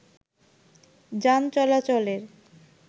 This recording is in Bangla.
যান চলাচলের